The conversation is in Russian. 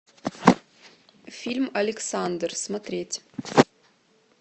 фильм александр смотреть